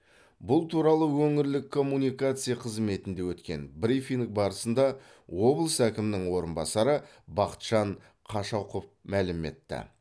бұл туралы өңірлік коммуникация қызметінде өткен брифинг барысында облыс әкімінің орынбасары бақытжан қашақов мәлім етті